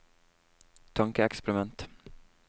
tankeeksperiment